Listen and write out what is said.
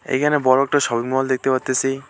এখানে বড়ো একটা শপিংমল দেখতে পারতেসি।